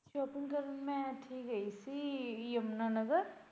shopping ਕਰਨ ਮੈਂ ਇੱਥੇ ਗਈ ਸੀ ਯਮੁਨਾ ਨਗਰ।